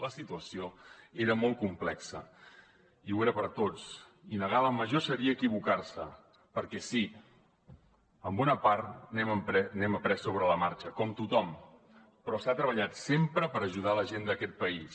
la situació era molt complexa i ho era per tots i negar la major seria equivocar se perquè sí en bona part n’hem après sobre la marxa com tothom però s’ha treballat sempre per ajudar la gent d’aquest país